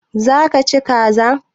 Za ka ci kaza?